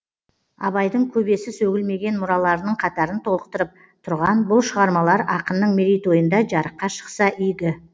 абайдың көбесі сөгілмеген мұраларының қатарын толықтырып тұрған бұл шығармалар ақынның мерейтойында жарыққа шықса игі